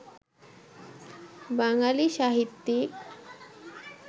বাঙালি সাহিত্যিক